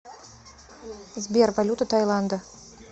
сбер валюта тайланда